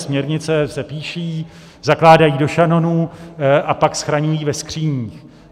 Směrnice se píší, zakládají do šanonů a pak schraňují ve skříních.